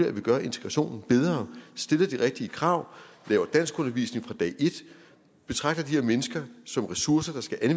at vi gør integrationen bedre stiller de rigtige krav laver danskundervisning fra dag et betragter de her mennesker som ressourcer der skal